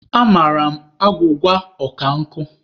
Amara m agwụgwa ọ ka nkụ.